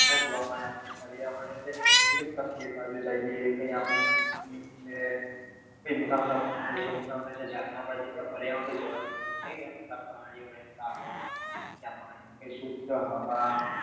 જોવા મળે છે આપડે પર્યાવરણ કઈ મોટા મોટા પત્થરો છે મોટા મોટા જે ઝરણા પડે છે ત્યાં પર્યાવરણ તો જોવા જેવું છે કે ત્યાં પ્રાણીઓ રહેતા હોય શુદ્ધ હવા